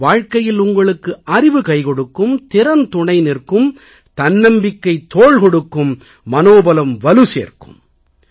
வாழ்க்கையில் உங்களுக்கு அறிவு கைகொடுக்கும் திறன் துணை நிற்கும் தன்னம்பிக்கை தோள் கொடுக்கும் மனோபலம் வலு சேர்க்கும்